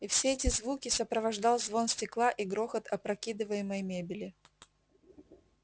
и все эти звуки сопровождал звон стекла и грохот опрокидываемой мебели